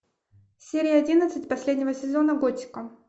серия одиннадцать последнего сезона готика